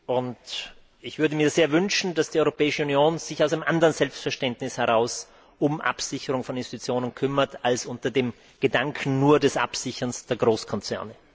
Und ich würde mir sehr wünschen, dass die Europäische Union sich aus einem anderen Selbstverständnis heraus um Absicherung von Institutionen kümmert als nur unter dem Gedanken des Absicherns der Großkonzerne.